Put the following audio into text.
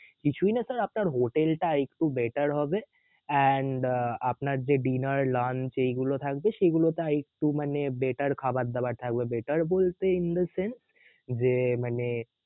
কিছুই না sir আপনার হোটেল টা একটু better হবে and আপনার যে dinner lunch এইগুলো থাকবে সেগুলোতে আর একটু মানে better খাবার দাবার থাকবে better বলতে যে মানে